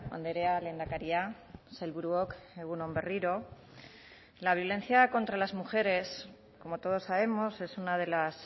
andrea lehendakaria sailburuok egun on berriro la violencia contra las mujeres como todos sabemos es una de las